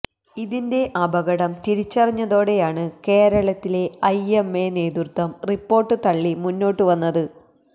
ഇതിന്റെ അപകടം തിരിച്ചറിഞ്ഞതോടെയാണ് കേരളത്തിലെ ഐഎംഎ നേതൃത്വം റിപ്പോർട്ട് തള്ളി മുന്നോട്ടു വന്നത്